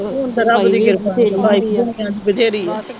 ਹੁਣ ਤਾ ਰੱਬ ਦੀ ਕਿਰਪਾ ਨਾ ਸਫਾਈ ਵੀ ਬੱਚਿਆਂ ਦੀ ਬਥੇਰੀ ਆ।